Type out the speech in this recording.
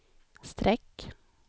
streck